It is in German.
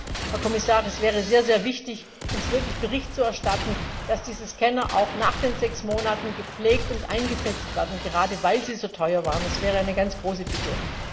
Deswegen, Herr Kommissar, wäre es sehr wichtig, uns wirklich Bericht zu erstatten, dass diese Scanner auch nach diesen sechs Monaten gepflegt und eingesetzt werden, gerade weil sie so teuer waren. Das wäre eine ganz große Bitte.